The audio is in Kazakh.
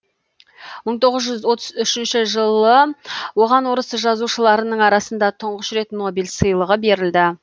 мың тоғыз жүз отыз үшінші жылы оған орыс жазушыларының арасында тұңғыш рет нобель сыйлығы берілді